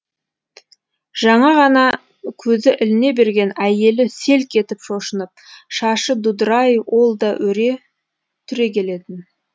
жаңа ғана көзі іліне берген әйелі селк етіп шошынып шашы дудырай ол да өре түрегелетін